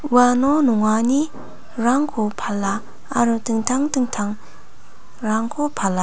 uano nonganirangko pala aro dingtang dingtangrangko pala.